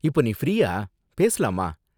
இப்போ நீ ஃப்ரீயா, பேசலாமா?